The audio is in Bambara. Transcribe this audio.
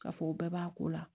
K'a fɔ o bɛɛ b'a ko la